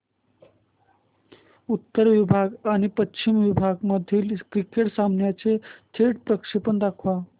उत्तर विभाग आणि पश्चिम विभाग मधील क्रिकेट सामन्याचे थेट प्रक्षेपण दाखवा